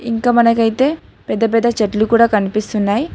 ఇంకా మనకైతే పెద్ద పెద్ద చెట్లు కూడా కనిపిస్తున్నాయి.